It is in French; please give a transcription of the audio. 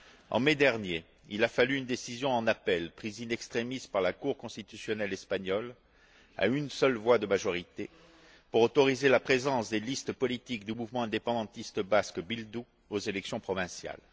En mai dernier, il a fallu une décision en appel, prise in extremis par la Cour constitutionnelle espagnole à une seule voix de majorité, pour autoriser la présence des listes politiques du Mouvement indépendantiste basque Bildu aux élections provinciales.